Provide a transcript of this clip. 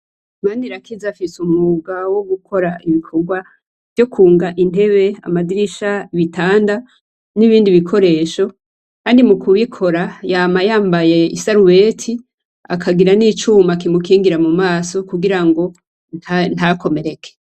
Manirakiza afise umwuga wo gukora ibikogwa vyo kwunga intebe, amadirisha, ibitanda n'ibindi bikoresho kandi mu kubikora yama yambaye isarubete, akagira n'icuma kimukingira mu maso kugira ngo ntakomereke.